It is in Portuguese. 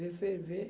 Vê, ferver.